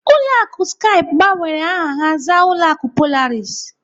Ụlọ akụ Skype gbanwere aha ha zaa ụlọ akụ Polaris.